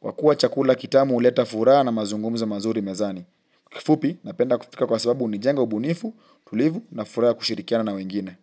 Kwa kua chakula kitamu huleta furaha na mazungumzo mazuri mezani. Kifupi, napenda kupika kwa sababu hunijenga ubunifu, utulivu na furaha kushirikiana na wengine.